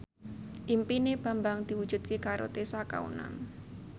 impine Bambang diwujudke karo Tessa Kaunang